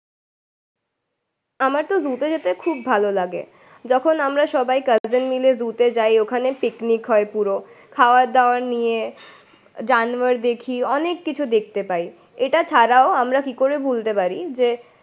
আমারতো জু তে যেতে খুব ভালো লাগে। যখন আমরা সবাই ক্যাসেন মিলে জু তে যায় ওখানে পিকনিক হয় পুরো। খাওয়ার দাওয়ার নিয়ে, জানোয়ার দেখি অনেক কিছু দেখতে পায়। এটা ছাড়াও আমরা কি করে ভুলতে পারি যে